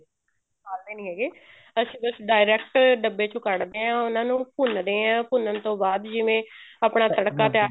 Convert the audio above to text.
ਉਬਾਲਦੇ ਨੀ ਹੈਗੇ ਅਸੀਂ ਬੱਸ direct ਡੱਬੇ ਚੋਂ ਕੱਡ ਦੇ ਹਾਂ ਉਹਨਾ ਨੂੰ ਭੁੰਨਦੇ ਹਾਂ ਭੁੰਨਣ ਤੋਂ ਬਾਅਦ ਜਿਵੇਂ ਆਪਣਾ ਤੜਕਾ ਤਿਆਰ